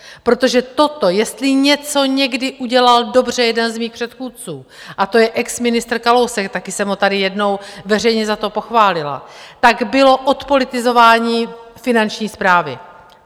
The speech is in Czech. Protože toto jestli něco někdy udělal dobře jeden z mých předchůdců, a to je exministr Kalousek - taky jsem ho tady jednou veřejně za to pochválila -, tak bylo odpolitizování Finanční správy.